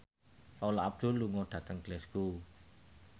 Paula Abdul lunga dhateng Glasgow